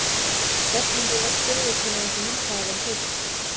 Stefnandi var spurður hvenær þessi mynd hefði verið tekin?